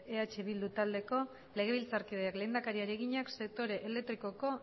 eh bildu taldeko legebiltzarkideak lehendakariari egina sektore elektrikoko